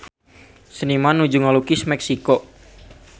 Seniman nuju ngalukis Meksiko